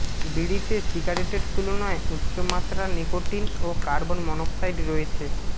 বিড়িতে সিগারেটের তুলনায় উচ্চমাত্রার নিকোটিন ও কার্বন মনোক্সাইড রয়েছে